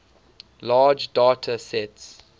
large data sets